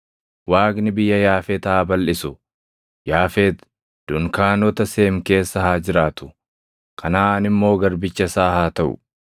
Waaqni biyya Yaafet haa balʼisu; Yaafet dunkaanota Seem keessa haa jiraatu; Kanaʼaan immoo garbicha isaa haa taʼu.”